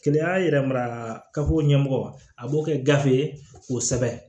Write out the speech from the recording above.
Keleya yɛrɛ mara kafo ɲɛmɔgɔ a b'o kɛ gafe ye k'o sɛbɛn